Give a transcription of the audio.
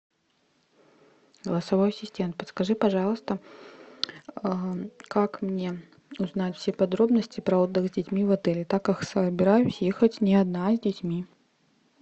голосовой ассистент подскажи пожалуйста как мне узнать все подробности про отдых с детьми в отеле так как собираюсь ехать не одна а с детьми